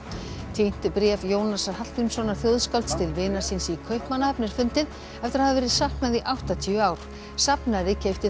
týnt bréf Jónasar Hallgrímssonar þjóðskálds til vinar síns í Kaupmannahöfn er fundið eftir að hafa verið saknað í áttatíu ár safnari keypti